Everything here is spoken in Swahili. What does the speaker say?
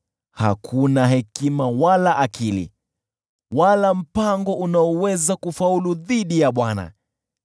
Hakuna hekima, wala akili, wala mpango unaoweza kufaulu dhidi ya Bwana .